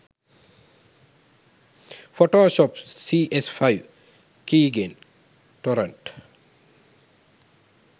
photoshop cs5 keygen torrent